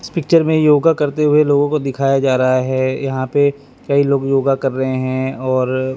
इस पिक्चर में योगा करते हुए लोगों को दिखाया जा रहा है यहां पे कई लोग योगा कर रहे हैं और--